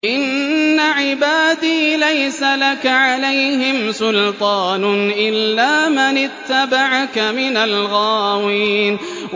إِنَّ عِبَادِي لَيْسَ لَكَ عَلَيْهِمْ سُلْطَانٌ إِلَّا مَنِ اتَّبَعَكَ مِنَ الْغَاوِينَ